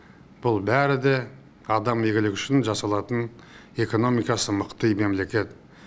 бұл бәрі де адам игілігі үшін жасалатын экономикасы мықты мемлекет